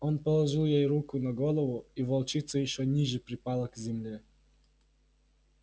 он положил ей руку на голову и волчица ещё ниже припала к земле